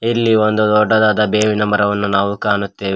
ಇಲ್ಲಿ ಒಂದು ದೊಡ್ಡದಾದ ಬೇವಿನ ಮರವನ್ನು ನಾವು ಕಾಣುತ್ತೇವೆ.